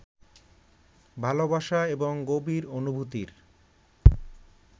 ভালবাসা এবং গভীর অনুভূতির